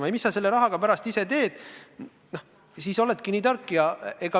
See, mis sa selle rahaga pärast teed, oleneb sinu tarkusest.